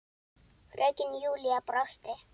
Fröken Júlía brosti.